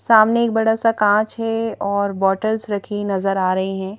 सामने एक बड़ा सा कांच है और बॉटल्स रखी नजर आ रही हैं।